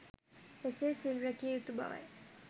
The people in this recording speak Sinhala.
එසේ සිල් රැකිය යුතු බවයි.